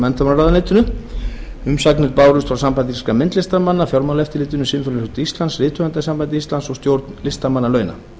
menntamálaráðuneyti umsagnir bárust frá sambandi íslenskra myndlistarmanna fjármálaeftirlitinu sinfóníuhljómsveit íslands rithöfundasambandi íslands stjórn listamannalauna